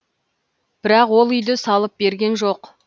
бірақ ол үйді салып берген жоқ